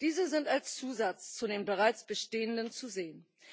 Diese sind als Zusatz zu den bereits bestehenden zu sehen.